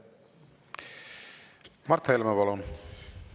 Mart Helme, palun!